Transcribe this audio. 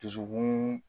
Dusukun